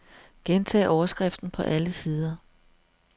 Gentag overskriften på alle sider.